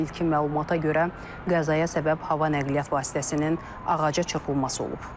İlkin məlumata görə qəzaya səbəb hava nəqliyyat vasitəsinin ağaca çırpılması olub.